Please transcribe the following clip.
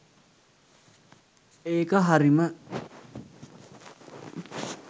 ඒක හරිම